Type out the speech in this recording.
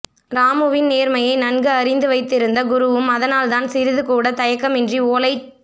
ராமுவின் நேர்மையை நன்கு அறிந்து வைத்து இருந்த குருவும் அதனால்தான் சிறிதுகூட தயக்கமின்றி ஓலைச்